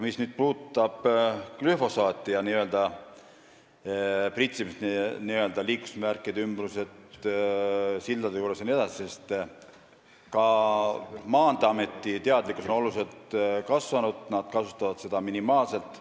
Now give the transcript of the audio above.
Mis puudutab glüfosaati ja pritsimist liiklusmärkide ümbruses, sildade juures jne, siis ka Maanteeameti teadlikkus on kasvanud, nad kasutavad seda minimaalselt.